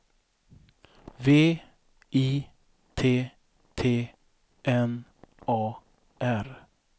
V I T T N A R